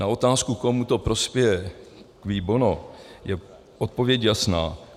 Na otázku, komu to prospěje, cui bono, je odpověď jasná.